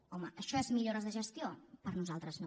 home això és millores de gestió per nosaltres no